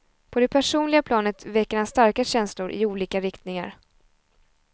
På det personliga planet väcker han starka känslor, i olika riktningar.